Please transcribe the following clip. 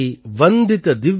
நமாமி கங்கே தவ பாத பங்கஜம்